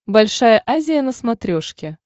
большая азия на смотрешке